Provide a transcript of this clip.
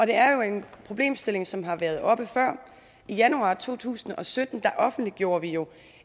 er jo en problemstilling som har været oppe før i januar to tusind og sytten offentliggjorde vi jo